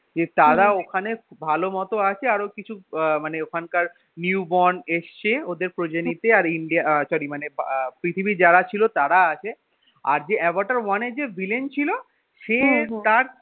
যে তারা ওখানে ভালো মত আছে আরও কিছু আহ মানে ওখানকার new born এসছে ওদের প্রজাতিতে আহ sorry মানে ~ পৃথিবীর যারা ছিল তারা আছে আর যে আভাটার one এর যে villain ছিল সে তার